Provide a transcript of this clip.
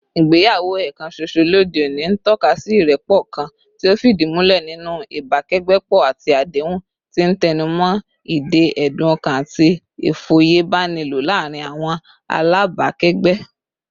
Ìgbéyàwó ẹ̀ẹ̀kan ṣoṣo lóde òní ń tọ́ka sí ìrẹ́pọ̀ kan tí ó fìdí múlẹ̀ nínú ìbákẹ́gbẹ́pọ̀ àti àdéhùn, tí ń tẹnu mọ́ ìdè ẹ̀dùn-ọkàn àti ìfòyebánilò láàárín àwọn alábàákẹ́gbẹ́